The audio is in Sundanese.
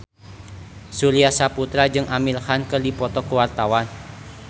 Surya Saputra jeung Amir Khan keur dipoto ku wartawan